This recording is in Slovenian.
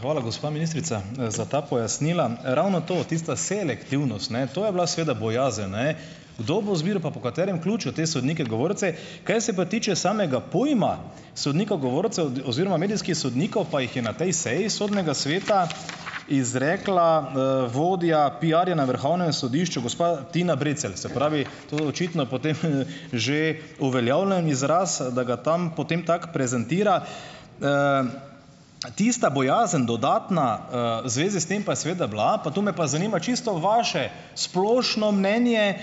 Hvala, gospa ministrica, za ta pojasnila! Ravno to, tista selektivnost, ne? To je bila seveda bojazen, ne? Kdo bo izbiral pa po katerem ključu, te sodnike govorce. Kar se pa tiče samega pojma sodnika govorca oziroma medijskih sodnikov, pa jih je na tej seji Sodnega sveta izrekla, vodja piarja na Vrhovnem sodišču, gospa Tina Brecelj. Se pravi, to je očitno potem, že uveljavljen izraz, da ga tam potem tako prezentira. Tista bojazen, dodatna, v zvezi s tem pa je seveda bila, pa to me pa zanima čisto vaše, splošno mnenje,